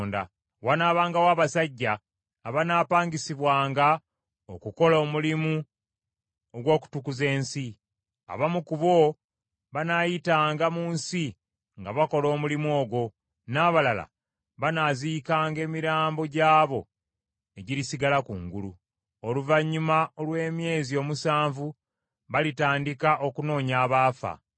Wanaabangawo abasajja abanaapangisibwanga okukola omulimu ogw’okutukuza ensi. Abamu ku bo banaayitanga mu nsi nga bakola omulimu ogwo, n’abalala banaaziikanga emirambo gy’abo egirisigala kungulu. “ ‘Oluvannyuma olw’emyezi omusanvu balitandika okunoonya abaafa.